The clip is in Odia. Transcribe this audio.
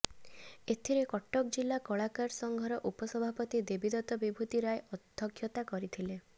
ଏଥିରେ କଟକ ଜିଲ୍ଲା କଳାକାର ସଂଘର ଉପସଭାପତି ଦେବୀଦତ୍ତ ବିଭୂତି ରାୟ ଅଧ୍ୟକ୍ଷତା କରିଥିଲେ